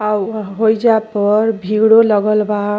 अउ ह होइजा पर भीड़ो लगल बा।